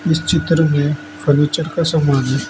इस चित्र में फर्नीचर का समान है।